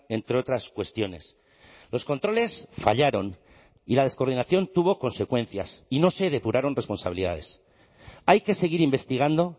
entre otras cuestiones los controles fallaron y la descoordinación tuvo consecuencias y no se depuraron responsabilidades hay que seguir investigando